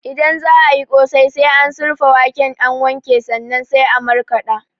Idan za ayi ƙosai, sai an surfa waken an wanke sannan sai an markaɗa